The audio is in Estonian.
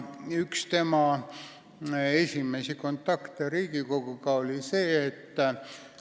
Üks tema esimesi kontakte Riigikoguga oli selline.